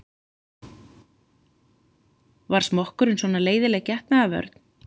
Var smokkurinn svona leiðinleg getnaðarvörn?